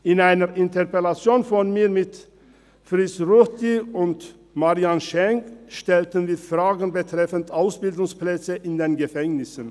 In einer Interpellation von mir mit Fritz Ruchti und Marianne Schenk stellten wir Fragen betreffend Ausbildungsplätze in den Gefängnissen.